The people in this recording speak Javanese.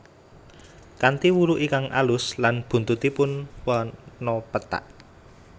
Kanthi wulu ingkang alus lan buntutipun warna pethak